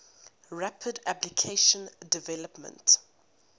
rapid application development